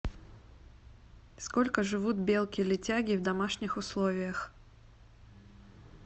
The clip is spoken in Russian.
сколько живут белки летяги в домашних условиях